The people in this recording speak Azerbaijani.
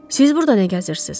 Siz burada nə gəzirsiz?